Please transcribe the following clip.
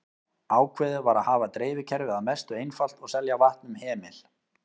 Ákveðið var að hafa dreifikerfið að mestu einfalt og selja vatn um hemil.